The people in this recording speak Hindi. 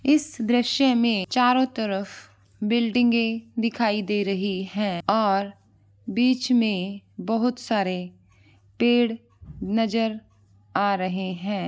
इस दृश्य में चारो तरफ बिल्डिंगे दिखाई दे रही है और बिच में बहुत सारे पेड़--